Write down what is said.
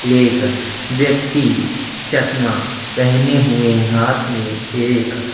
एक व्यक्ति चस्मा पहने हुए है हाथ मैं एक--